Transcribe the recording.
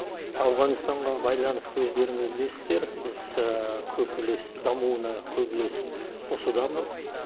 ауғанстаға байланысты өздеріңіз білесіздер дамуына көп үлес қосудамыз